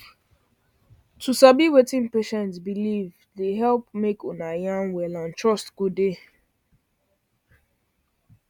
to sabi wetin patient believe dey help make una yarn well and trust go dey